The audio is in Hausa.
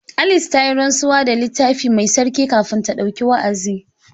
Alice ta yi rantsuwa da Littafi Mai Tsarki kafin ta ɗauki wa’azi.